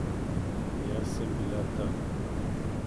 Jaz sem bila tam.